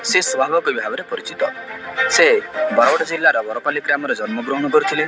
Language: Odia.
ସେ ସ୍ଵଭାବକବି ଭାବରେ ପରିଚିତ। ସେ ବରଗଡ଼ ଜିଲ୍ଲା ବରପାଲି ଗ୍ରାମରେ ଜନ୍ମ ଗ୍ରହଣ କରିଥିଲେ।